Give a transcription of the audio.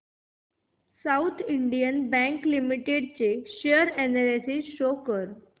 south Indian Bank Limited share analysis show कर